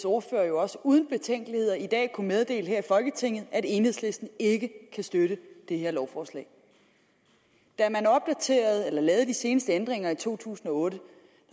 ordfører jo også uden betænkeligheder i dag kunne meddele her i folketinget at enhedslisten ikke kan støtte det her lovforslag da man lavede de seneste ændringer i to tusind og otte